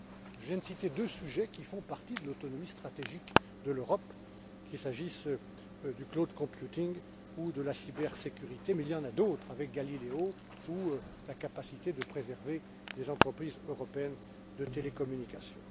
Je viens de citer deux sujets qui font partie de l'autonomie stratégique de l'Europe, qu'il s'agisse du cloud computing ou de la cybersécurité, mais il y en a d'autres, avec Galileo ou la capacité de préserver des entreprises européennes de télécommunications.